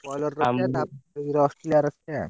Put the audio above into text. Broiler ରଖିଆ ତାପରେ Australia ରଖିଆ।